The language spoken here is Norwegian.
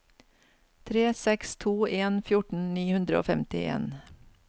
tre seks to en fjorten ni hundre og femtien